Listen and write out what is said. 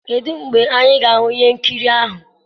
kedụ oge anyị ga-ahụ ihe nkiri ahụ?